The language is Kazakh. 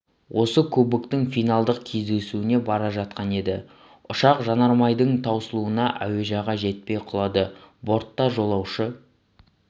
осы кубоктің финалдық кездесуіне бара жатқан еді ұшақ жанармайдың таусылуынан әуежайға жетпей құлады бортта жолаушы